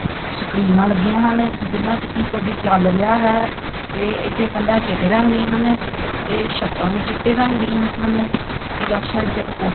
ਸਕਰੀਨਾਂ ਲੱਗੀਆਂ ਹਨ ਜਿਨਾਂ ਚ ਕੀ ਕੁਝ ਚੱਲ ਰਿਹਾ ਹੈ ਤੇ ਇੱਥੇ ਕੰਧਾਂ ਚਿੱਟੇ ਰੰਗ ਦੀਆਂ ਹਨ ਤੇ ਛੱਤਾਂ ਵੀ ਚਿੱਟੇ ਰੰਗ ਦੀਆਂ ਹਨ ਇਹ ਲੈਫਟ ਸਾਈਡ ਤੇ ਇਕ ਪੋ--